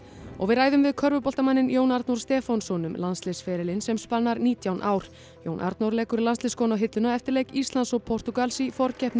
og við ræðum við Jón Arnór Stefánsson um landsliðsferilinn sem spannar nítján ár Jón Arnór leggur landsliðsskóna á hilluna eftir leik Íslands og Portúgals í forkeppni